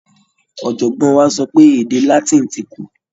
Ọ̀jọ̀gbọ́n wa sọ pé èdè Latin ti kú.